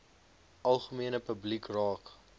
algemene publiek raak